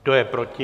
Kdo je proti?